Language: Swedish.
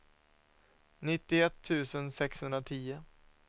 nittioett tusen sexhundratio